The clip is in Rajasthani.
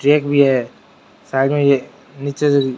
ट्रैक भी है साइड मे नीचे --